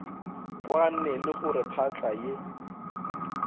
kwane le gore phahla e